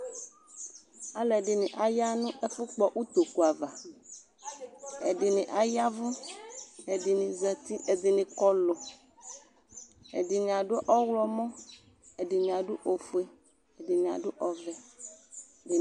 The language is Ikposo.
Alu ɛdini aya nʋ ɛfukpɔ itoku'avaƐdini ayavʋ , ɛdini zati, ɛdini kɔluƐdini adʋ ɔɣlɔmɔƐdini adʋ ofueƐdini adʋ ɔvɛƐdini